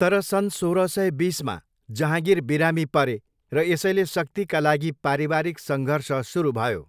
तर सन् सोह्र सय बिसमा, जहाँगिर बिरामी परे, र यसैले शक्तिका लागि पारिवारिक सङ्घर्ष सुरु भयो।